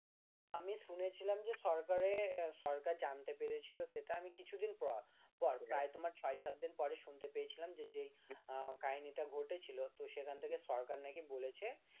আমি শুনেছিলাম যে সরকারে সরকার জানতে পেরেছিলো সেটা আমি কিছুদিন পর প্রায়ই তোমার ছয় সাত দিন পরে শুনতে পেয়েছিলাম যে কাহিনীটা ঘটেছিল তো সেখান থেকে সরকার নাকি বলেছে